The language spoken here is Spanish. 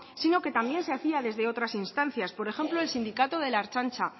sino que también se hacía desde otras instancias por ejemplo el sindicato de la ertzantza